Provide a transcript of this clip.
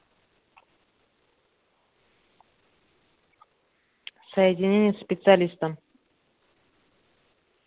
соединение со специалистом